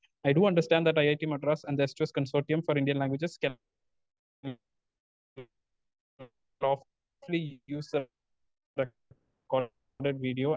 Speaker 2 I do understand that IIT Madras and the S two S consortium for Indian languages can lawfully use the record video.